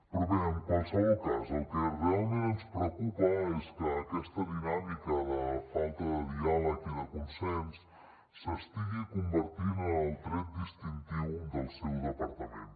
però bé en qualsevol cas el que realment ens preocupa és que aquesta dinàmica de falta de diàleg i de consens s’estigui convertint en el tret distintiu del seu departament